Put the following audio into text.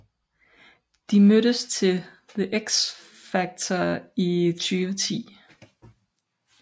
De mødtes til The X Factor i 2010